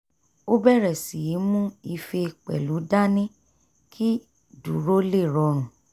ó bẹ̀rẹ̀ sí í mú ife pẹ̀lú dání kí dúró lè rọrùn